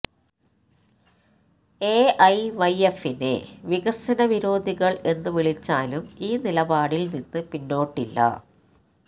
എഐവൈഎഫിനെ വികസന വിരോധികള് എന്നു വിളിച്ചാലും ഈ നിലപാടില് നിന്ന് പിന്നോട്ടില്ല